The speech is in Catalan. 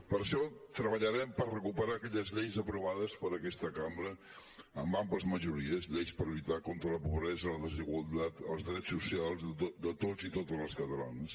per això treballarem per recuperar aquelles lleis aprovades per aquesta cambra amb àmplies majores lleis per lluitar contra la pobresa la desigualtat els drets socials de tots i totes les catalanes